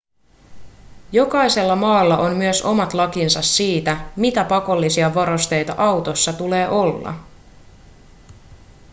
jokaisella maalla on myös omat lakinsa siitä mitä pakollisia varusteita autossa tulee olla